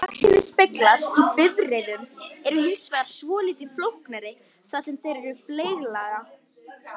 Baksýnisspeglar í bifreiðum eru hins vegar svolítið flóknari þar sem þeir eru fleyglaga.